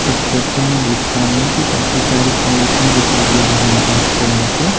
इस फोटो में देख पा रहे कि काफी सारी पॉलीथिन दिखाई दे रही उनको आपके यहां पे--